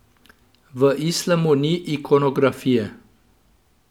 V islamu ni ikonografije.